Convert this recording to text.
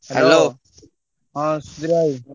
ହଁ ସୁଧୀର ଭାଇ।